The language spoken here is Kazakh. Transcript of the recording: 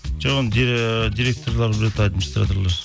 жоқ оны ыыы директорлар біледі администраторлар